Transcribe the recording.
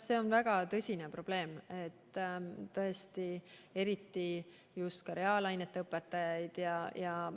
See on väga tõsine probleem, eriti just reaalainete õpetajaid on vaja.